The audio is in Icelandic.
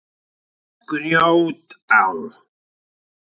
Grjótá